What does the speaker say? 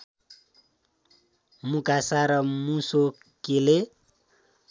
मुकासा र मुसोकेले